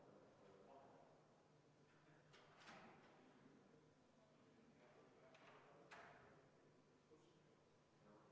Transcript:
Palun valimiskomisjoni liikmetel asuda hääli lugema.